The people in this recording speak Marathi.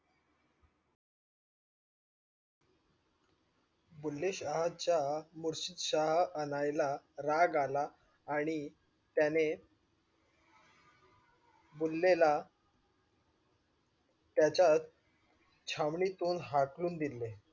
बुल्लेशाहाच्या मुर्षदश हा आणयला राग आला आणि त्याने बुल्लेला त्याच्या छव्नीतून हाकलून दिले.